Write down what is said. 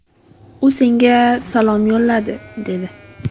U senga salom yo‘lladi”, dedi.